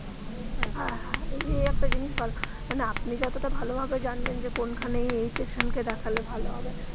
হ্যা হ্যা এই একটা জিনিস ভালো মানে আপনি যতটা ভালো ভাবে জানবেন যে কোনখানে এই patient কে দেখালে ভালো হবে.